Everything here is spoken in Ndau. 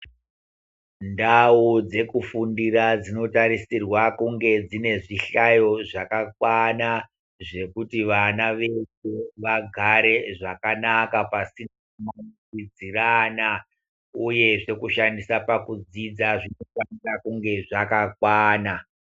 Ndau dzekufundira dzinotarisirwa kunge dzine zvihlayo zvakakwana zvekuti vana vedu vagare zvakanaka pasi ... kudzidzirana uyezve kushandisa pakudzidza zvinofanira kunhe zvakakwana.